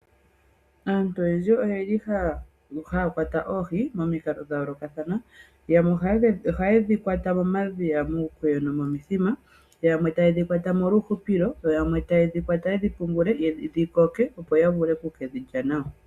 Aantu oyendji oyeli haya kwata oohi momikalo dhayooloka yamwe ohaye dhikwata momadhiya, muukweyo nomuuthima, yamwe taye dhi kwata molwa uuhupilo yo yamwe taye dhi kwata yedhi pungule dhikoke opo yavule okuke dhilya nawa.